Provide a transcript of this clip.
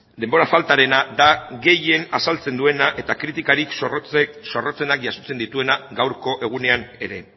denbora faltarena da gehien azaltzen duena eta kritikarik zorrotzenak jasotzen dituena gaurko egunean ere